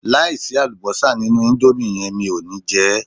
Láìsí àlùbọ́sà nínú íńdómì yẹn mi ò ní jẹ ẹ́.